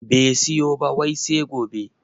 Bai siyo ba wai sai gobe